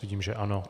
Vidím, že ano.